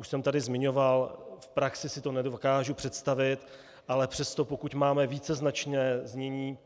Už jsem tady zmiňoval - v praxi si to nedokážu představit, ale přesto, pokud máme víceznačné znění